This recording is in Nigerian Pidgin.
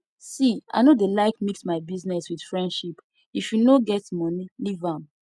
see i no dey like mix my business with friendship if you no get money leave am